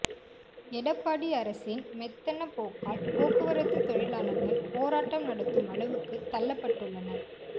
எடப்பாடி அரசின் மெத்தன போக்கால் போக்குவரத்து தொழிலாளர்கள் போராட்டம் நடத்தும் அளவுக்கு தள்ளப்பட்டுள்ளனர்